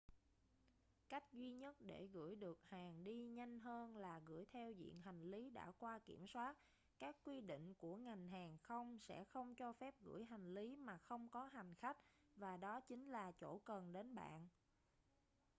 cách duy nhất để gửi được hàng đi nhanh hơn là gửi theo diện hành lý đã qua kiểm soát các quy định của ngành hàng không sẽ không cho phép gửi hành lý mà không có hành khách và đó chính là chỗ cần đến bạn